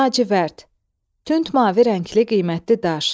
Lacivərd, tünd mavi rəngli qiymətli daş.